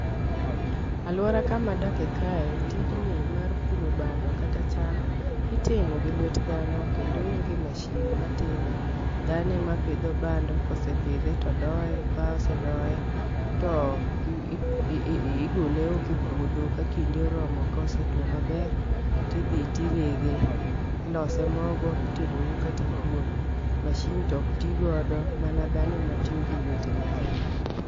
Aluora kama dake kae , tijni mar puro bando kata cham itimo gi lwet dhano kendo onge mashin matime. Dhano ema pidho bando kosepidhe to doye kosedoye to i i i gole oko e puodho ka kinde oromo kosetwo maber ,tidhi tirege. Ilose mogo itedo go kata kuon. Mashin tok tii godo mna dhano ema tiyo gi lwete ne kende.